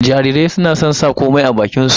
Jarirai suna son sa komai a bakin su